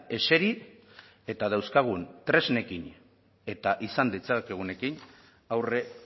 eseri eta dauzkagun tresnekin eta izan ditzakegunekin aurre